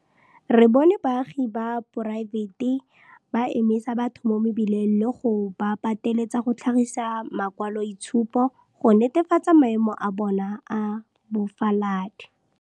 Re bone baagi ba poraefete ba emisa batho mo mebileng le go ba pateletsa go tlhagisa makwaloitshupo go netefatsa maemo a bona a bofaladi.